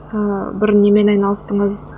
ыыы бұрын немен айналыстыңыз